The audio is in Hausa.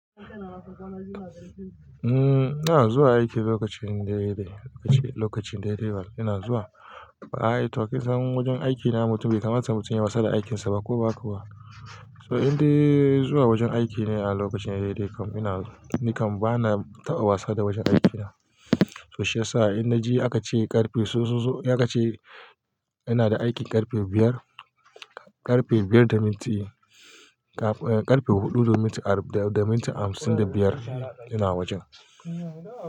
Umm, ina zuwa aiki lokacin daidai. Lokacin daidai bana zuwa. Ba'a yi to kin san wajen aikina mutum bai kamata mutum yayi wasa da aikinsa ba haka ba. So inda zuwa wajen aiki ne a lokacin daidai. Kam ina, nikan bana taɓa wasa da wajen aikina. To shi yasa inda ji aka ce ƙarfe sososo, ya ka ce yana da aikin ƙarfe biyar, ƙarfe biyar da minti, ƙarfe huɗu da minti arba da minti hamsin da biyar ina wajen.